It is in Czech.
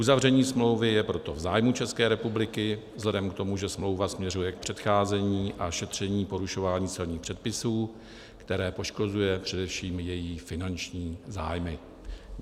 Uzavření smlouvy je proto v zájmu České republiky vzhledem k tomu, že smlouva směřuje k předcházení a šetření porušování celních předpisů, které poškozuje především její finanční zájmy.